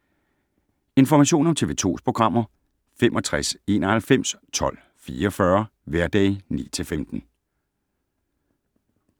Information om TV 2's programmer: 65 91 12 44, hverdage 9-15.